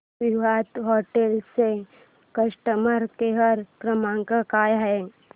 Vivanta hotel चा customer care क्रमांक काय आहे